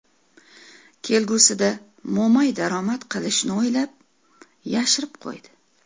Kelgusida mo‘may daromad qilishni o‘ylab, yashirib qo‘ydi.